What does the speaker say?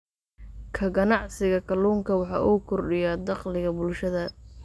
Ka ganacsiga kalluunka waxa uu kordhiyaa dakhliga bulshada.